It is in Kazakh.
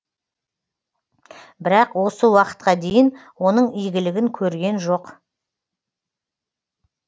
бірақ осы уақытқа дейін оның игілігін көрген жоқ